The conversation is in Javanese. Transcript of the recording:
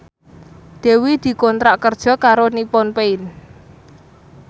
Dewi dikontrak kerja karo Nippon Paint